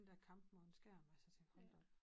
Den dér kamp mod en skærm altså jeg tænker hold da op